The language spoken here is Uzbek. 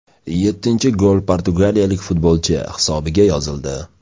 Yettinchi gol portugaliyalik futbolchi hisobiga yozildi.